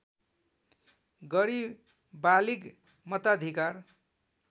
गरी बालिग मताधिकार